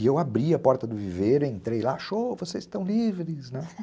E eu abri a porta do viveiro, entrei lá, xô, vocês estão livres, né?